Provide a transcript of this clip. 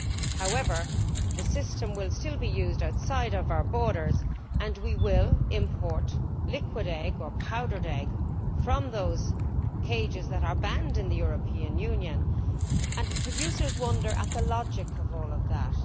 However, the system will still be used outside of our borders and we will import liquid egg or powdered egg from those cages that are banned in the European Union, and producers wonder at the logic of all of that.